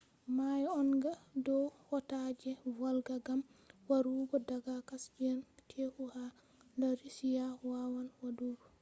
mayo onega do hauta je volga gam warugo daga caspian teku ha dar russia wawan wadugo